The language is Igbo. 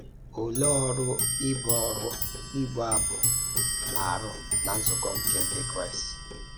Olèé ọ̀rụ́ íbụ̀ ọ̀rụ́ íbụ̀ abụ̀ nà àrụ́ ná nzúkọ nke ǹdí Kraịst?